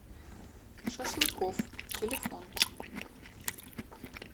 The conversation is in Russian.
шашлыкофф телефон